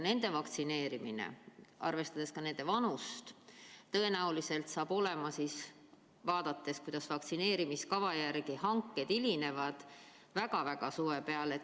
Nende vaktsineerimine jääb arvestades nende keskmist vanust ja nähes seda, kuidas hanked hilinevad, tõenäoliselt suure suve peale.